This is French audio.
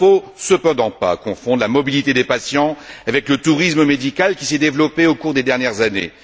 Il ne faut cependant pas confondre la mobilité des patients avec le tourisme médical qui s'est développé au cours des dernières années.